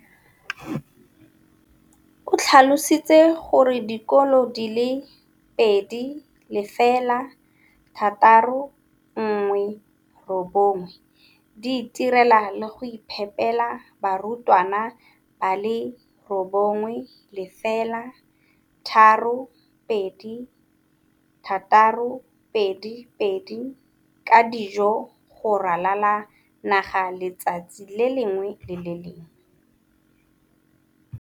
o tlhalositse gore dikolo di le 20 619 di itirela le go iphepela barutwana ba le 9 032 622 ka dijo go ralala naga letsatsi le lengwe le le lengwe.